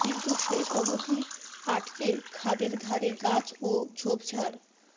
কিন্তু শেষ অবধি আটকে খাদের ধারে গাছ ও ঝোপঝাড়